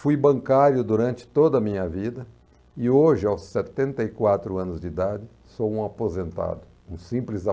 Fui bancário durante toda a minha vida e hoje, aos setenta e quatro anos de idade, sou um aposentado, um simples